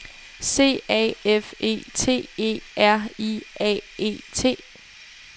C A F E T E R I A E T